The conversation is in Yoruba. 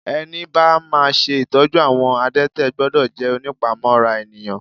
Ẹni bá máa ṣe ìtọ́jú àwọn adete gbọ́dọ̀ jẹ́ ònípamọ́ra ènìyàn.